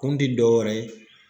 Kun ti dɔwɛrɛ ye